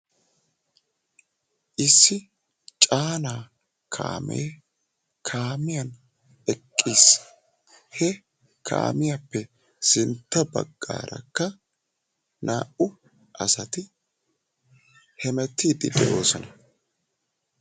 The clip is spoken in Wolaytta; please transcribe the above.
Issi caanaa kaamee kaamiyan eqqis. He kaamiyappe sinttabaggaarakka naa"u asati hemettiiddi de'oosona.